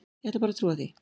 Ég ætla bara að trúa því.